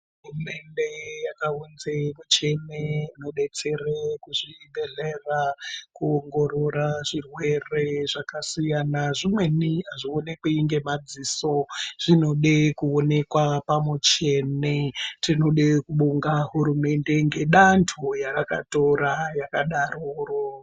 Hurumende yakaunze michini inodetsera kuzvibhedhlera kuongorora zvirwere zvakasiyana zvimweni azvioneki ngemadziso zvinode kuoneka pamichini tinoda kubonga hurumende nedando yarakatora rakadaroro.